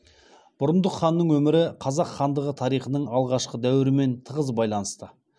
бұрындық ханның өмірі қазақ хандығы тарихының алғашқы дәуірімен тығыз байланысты